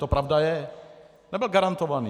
To pravda je, nebyl garantovaný.